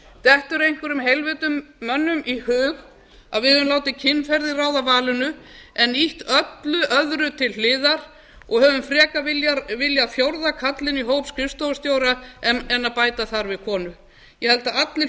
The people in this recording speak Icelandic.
dettur einhverjum heilvita manni í hug að við höfum látið kynferði ráða valinu en ýtt öllu öðru til hliðar og höfum frekar viljað fjórða karlinn í hóp skrifstofustjóra en að bæta þar við konu ég held að allir